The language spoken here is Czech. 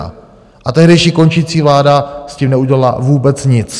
A tehdejší končící vláda s tím neudělala vůbec nic.